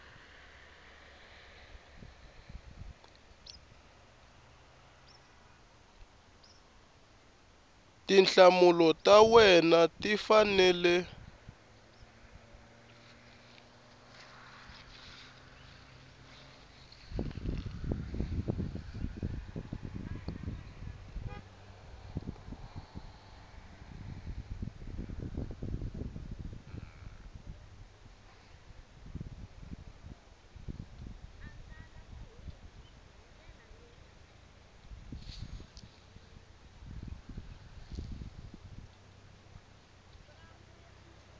tinhlamulo ta wena ti fanele